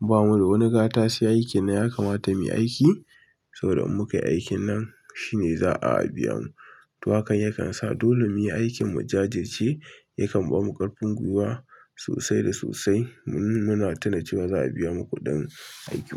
bamu da wani gatashi, aikin nan ya kamata mu yi aiki saboda in muka yi aikin nan shine za a biya mu. To haka yakan sa dole muyi aikin mu jajirce. Yakan ba mu ƙarfin gwiwa sosai da sosai. Muna tuna cewa za a biya mu kuɗin aiki.